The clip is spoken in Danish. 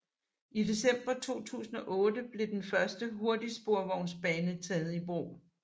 I december 2008 blev den første hurtigsporvognsbane taget i brug